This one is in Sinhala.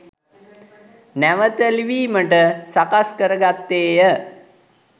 නැවත ලිවීමට සකස් කර ගත්තේය